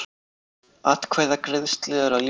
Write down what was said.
Atkvæðagreiðslu er að ljúka